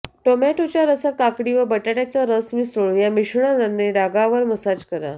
टोमॅटोच्या रसात काकडी व बटाट्याचा रस मिसळून या मिश्रणाने डागावर मसाज करा